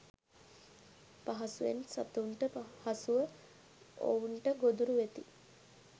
පහසුවෙන් සතුන්ට හසුව ඔවුන්ට ගොදුරු වෙති.